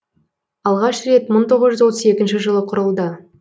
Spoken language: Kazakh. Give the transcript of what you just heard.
алғаш рет мың тоғыз жүз отыз екінші жылы құрылды